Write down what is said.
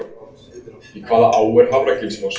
Í hvaða á er Hafragilsfoss?